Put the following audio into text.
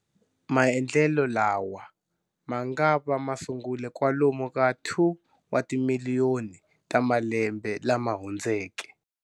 Maendlelo lawa mangava masungule kwalomu ka 2 wa timiliyoni ta malembe lama hundzeke.